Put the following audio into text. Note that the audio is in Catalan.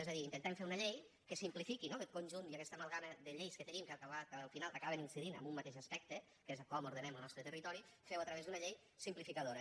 és a dir intentem fer una llei que simplifiqui no aquest conjunt i aquesta amalgama de lleis que tenim que al final acaben incidint en un mateix aspecte que és com ordenem lo nostre territori fer ho a través d’una llei simplificadora